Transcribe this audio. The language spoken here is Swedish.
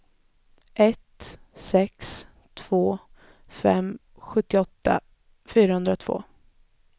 ett sex två fem sjuttioåtta fyrahundratvå